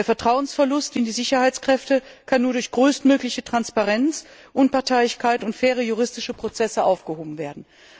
Der Vertrauensverlust in die Sicherheitskräfte kann nur durch größtmögliche Transparenz, Unparteilichkeit und faire juristische Prozesse überwunden werden.